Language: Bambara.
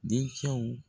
Dencɛw